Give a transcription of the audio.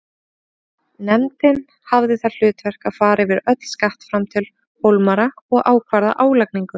Nefndin hafði það hlutverk að fara yfir öll skattframtöl Hólmara og ákvarða álagningu.